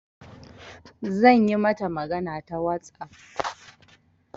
Zan yi mata magana ta WhatsApp.